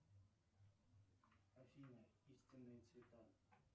афина истинные цвета